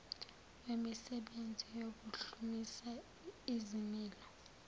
wemisebenzi yokuhlumisa izimilo